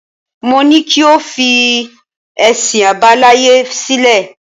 Mo ní kí o fi ẹ̀sìn àbáláyé sílẹ̀.